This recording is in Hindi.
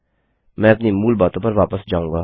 मैं अपनी मूल बातों पर वापस जाऊँगा